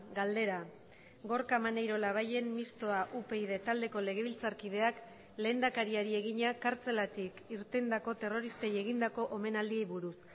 galdera gorka maneiro labayen mistoa upyd taldeko legebiltzarkideak lehendakariari egina kartzelatik irtendako terroristei egindako omenaldi buruz